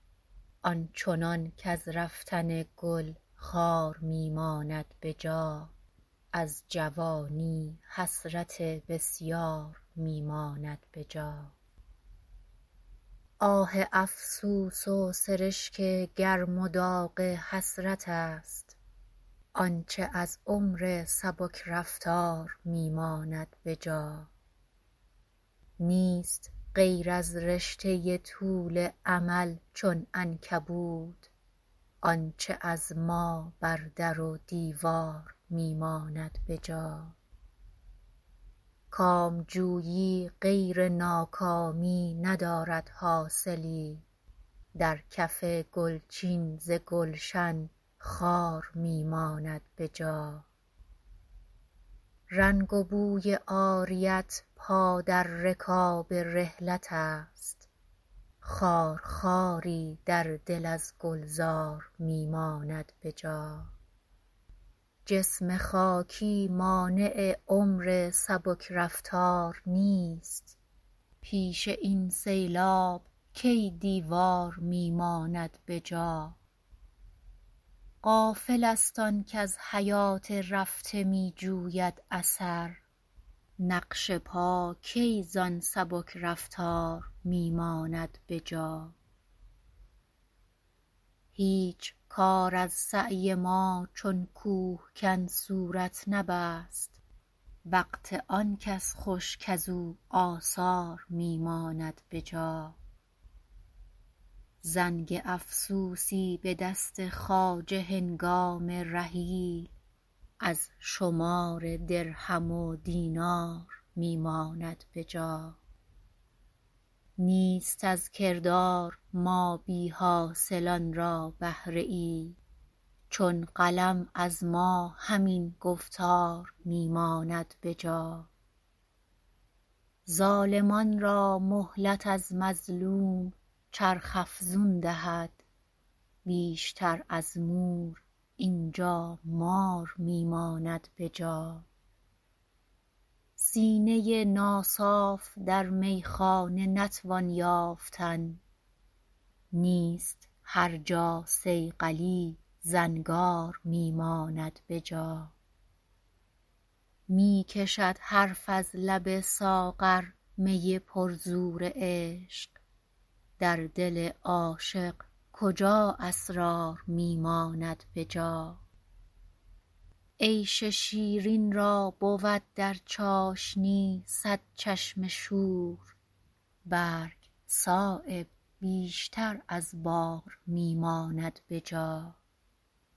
آنچنان کز رفتن گل خار می ماند به جا از جوانی حسرت بسیار می ماند به جا آه افسوس و سرشک گرم و داغ حسرت است آنچه از عمر سبک رفتار می ماند به جا نیست غیر از رشته طول امل چون عنکبوت آنچه از ما بر در و دیوار می ماند به جا کامجویی غیر ناکامی ندارد حاصلی در کف گل چین ز گلشن خار می ماند به جا رنگ و بوی عاریت پا در رکاب رحلت است خار خواری در دل از گلزار می ماند به جا جسم خاکی مانع عمر سبک رفتار نیست پیش این سیلاب کی دیوار می ماند به جا غافل است آن کز حیات رفته می جوید اثر نقش پا کی زان سبک رفتار می ماند به جا هیچ کار از سعی ما چون کوهکن صورت نبست وقت آن کس خوش کز او آثار می ماند به جا زنگ افسوسی به دست خواجه هنگام رحیل از شمار درهم و دینار می ماند به جا نیست از کردار ما بی حاصلان را بهره ای چون قلم از ما همین گفتار می ماند به جا ظالمان را مهلت از مظلوم چرخ افزون دهد بیشتر از مور اینجا مار می ماند به جا سینه ناصاف در میخانه نتوان یافتن نیست هر جا صیقلی زنگار می ماند به جا می کشد حرف از لب ساغر می پر زور عشق در دل عاشق کجا اسرار می ماند به جا عیش شیرین را بود در چاشنی صد چشم شور برگ صایب بیشتر از بار می ماند به جا